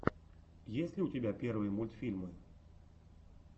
есть ли у тебя первые мультфильмы